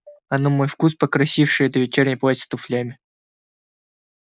а на мой вкус покрасивше это вечернее платье с туфлями